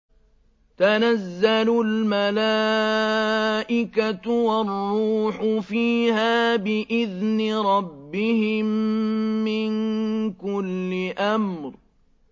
تَنَزَّلُ الْمَلَائِكَةُ وَالرُّوحُ فِيهَا بِإِذْنِ رَبِّهِم مِّن كُلِّ أَمْرٍ